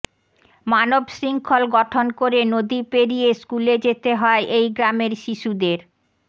মানব শৃঙ্খল গঠন করে নদী পেরিয়ে স্কুলে যেতে হয় এই গ্রামের শিশুদের